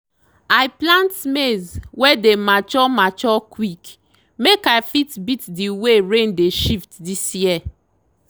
i plant maize wey dey mature mature quick make i fit beat the way rain dey shift this year.